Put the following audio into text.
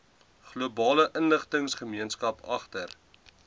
globale inligtinggemeenskap agter